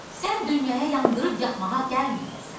Sən dünyaya yandırıb yaxmağa gəlməyibsən.